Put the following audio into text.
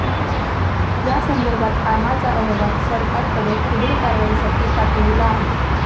यासंदर्भात कामाचा अहवाल सरकारकडे पुढील कारवाईसाठी पाठविला आहे.